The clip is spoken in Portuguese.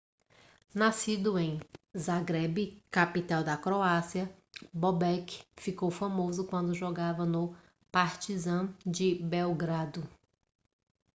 nascido em zagreb capital da croácia bobek ficou famoso quando jogava no partizan de belgrado